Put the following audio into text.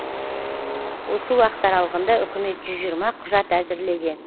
осы уақыт аралығында үкімет жүз жиырма құжат әзірлеген